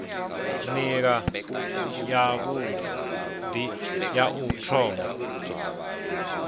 nila yavhui ya u thoma